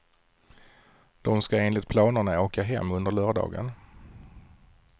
De ska enligt planerna åka hem under lördagen.